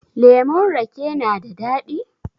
Lemon rake na da daɗi?